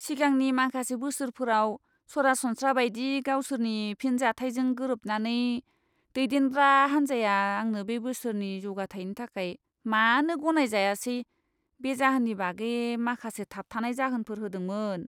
सिगांनि माखासे बोसोरफोराव सरासनस्रा बायदि गावसोरनि फिनजाथायजों गोरोबनानै, दैदेनग्रा हान्जाया आंनो बे बोसोरनि जौगाथायनि थाखाय मानो गनायजायासे बे जाहोननि बागै माखासे थाबथानाय जाहोनफोर होदोंमोन।